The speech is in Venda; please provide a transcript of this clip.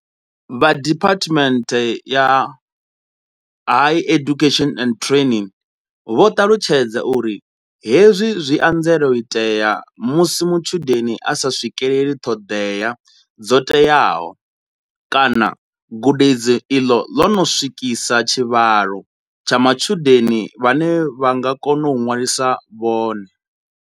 Vha DHET vho ṱalutshedza uri hezwi zwi anzela u itea musi mutshudeni a sa swikeleli ṱhoḓea dzo teaho kana gudedzi iḽo ḽo no swikisa tshivhalo tsha matshudeni vhane tsha nga kona u ṅwalisa vhone.